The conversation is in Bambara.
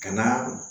Ka na